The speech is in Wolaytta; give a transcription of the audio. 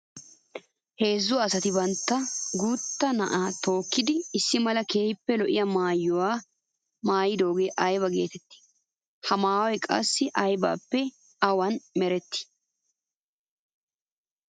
Heezzu asatti bantta guuta naa'a tookkiddi issi mala keehippe lo'iya maayuwa naayidooge aybba geetetti? Ha maayoy qassi aybbappe awan meretti?